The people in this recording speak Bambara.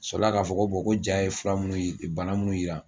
Sɔrɔ la k'a fɔ ko bon ko ja ye fura bana minnu yira